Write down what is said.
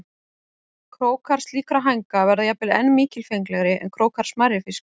Krókar slíkra hænga verða jafnvel enn mikilfenglegri en krókar smærri fiska.